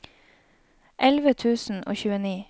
elleve tusen og tjueni